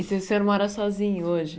E se senhor mora sozinho hoje?